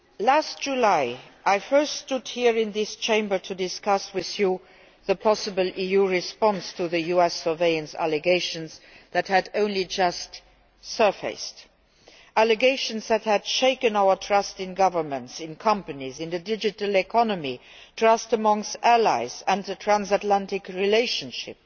Last July, I first stood here in this Chamber to discuss with you the possible EU response to the US surveillance allegations that had only just surfaced. These allegations had shaken our trust in governments, companies and the digital economy trust between allies and in the transatlantic relationship.